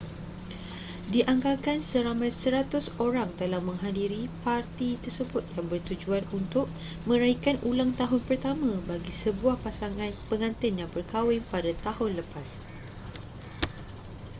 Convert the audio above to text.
dianggarkan seramai 100 orang telah menghadiri parti tersebut yang bertujuan untuk meraikan ulang tahun pertama bagi sebuah pasangan pengantin yang berkahwin pada tahun lepas